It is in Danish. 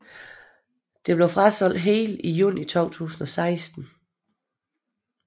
Det blev frasolgt helt i juni 2016